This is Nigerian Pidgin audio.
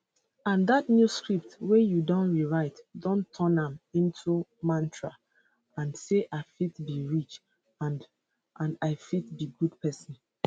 and dat new script wey you don rewrite don turn am into mantra and say i fit be rich and and i fit be good pesin